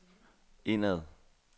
indad